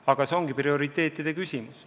Aga see ongi prioriteetide küsimus.